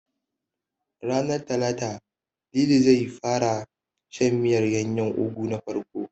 Ranar Talata, Lili zai fara gwada shan miyar ganyen Ugu na farko.